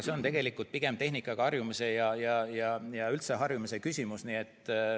See on tegelikult pigem tehnikaga harjumise ja üldse harjumise küsimus.